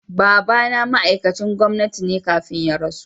Baba na ma'aikacin gwamnati ne kafin ya rasu.